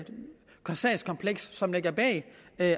sagskompleks som ligger bag